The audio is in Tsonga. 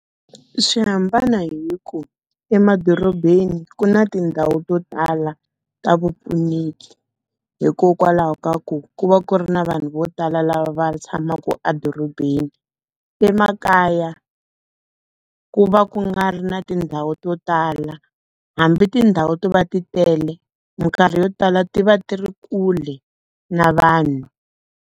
Swi hambana hi ku emadorobeni ku na tindhawu to tala ta vupfuneki. Hikokwalaho ka ku, ku va ku ri na vanhu vo tala lava va tshamaka edorobeni. Emakaya, ku va ku nga ri na tindhawu to tala. Hambi tindhawu to va ti tele, minkarhi yo tala ti va ti ri kule na vanhu.